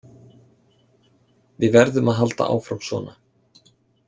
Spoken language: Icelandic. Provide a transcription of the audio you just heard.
Við verðum að halda áfram svona.